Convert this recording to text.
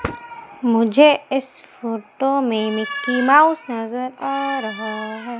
मुझे इस फोटो में मिकी माउस नजर आ रहा है।